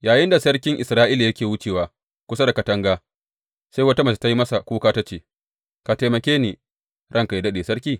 Yayinda sarkin Isra’ila yake wucewa kusa da katanga, sai wata mace ta yi masa kuka ta ce, Ka taimake ni, ranka yă daɗe, sarki!